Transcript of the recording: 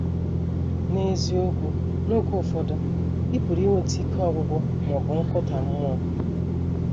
N’eziokwu, n’oge ụfọdụ ị pụrụ inwetụ ike ọgwụgwụ ma ọ bụ nkụda mmụọ.